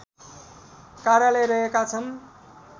कार्यालय रहेका छन्